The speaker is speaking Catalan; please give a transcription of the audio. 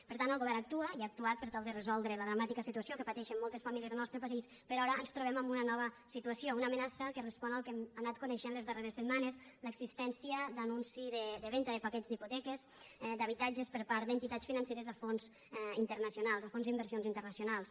per tant el govern actua i ha actuat per tal de resoldre la dramàtica situació que pateixen moltes famílies al nostre país però ara ens trobem amb una nova situació una amenaça que respon al que hem anat coneixent les darreres setmanes l’existència d’anunci de venda de paquets d’hipoteques d’habitatges per part d’entitats financeres a fons internacionals a fons d’inversió internacionals